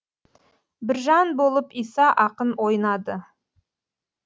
біржан болып иса ақын ойнады